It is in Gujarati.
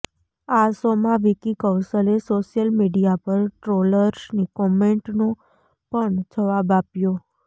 આ શોમાં વિકી કૌશલે સોશિયલ મીડિયા પર ટ્રોલર્સની કોમેન્ટનો પણ જવાબ આપ્યો